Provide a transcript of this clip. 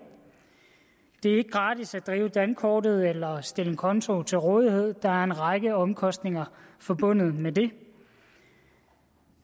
det er ikke gratis at drive dankortet eller at stille en konto til rådighed der er en række omkostninger forbundet med det